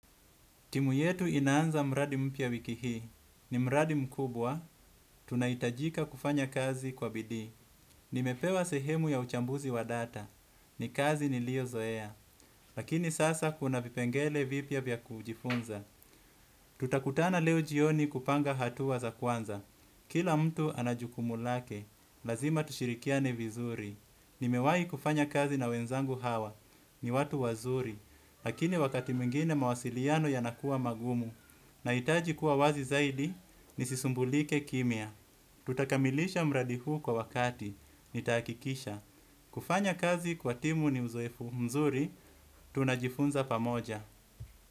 Timu yetu inaanza mradi mpya wiki hii. Ni mradi mkubwa. Tunahitajika kufanya kazi kwa bidii. Nimepewa sehemu ya uchambuzi wa data. Ni kazi niliozoea. Lakini sasa kuna vipengele vipya vya kujifunza. Tutakutana leo jioni kupanga hatua za kwanza. Kila mtu ana jukumu lake. Lazima tushirikiane vizuri. Nimewai kufanya kazi na wenzangu hawa, ni watu wazuri. Lakini wakati mwingine mawasiliano yanakuwa magumu. Nahitaji kuwa wazi zaidi, nisisumbulike kimya. Tutakamilisha mradi huu kwa wakati, nitahakikisha. Kufanya kazi kwa timu ni uzoefu mzuri, tunajifunza pamoja.